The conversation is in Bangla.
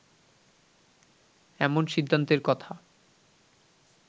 এমন সিদ্ধান্তের কথা